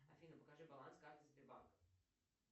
афина покажи баланс карты сбербанка